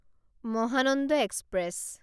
Mahananda express